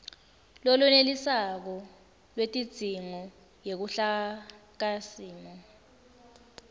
lolwenetisako lwetidzingo yeluhlakasimo